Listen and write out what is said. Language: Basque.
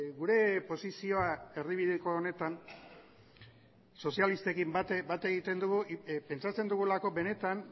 gure posizioa erdibideko honetan sozialistekin bat egiten dugu pentsatzen dugulako benetan